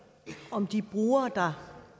om de brugere der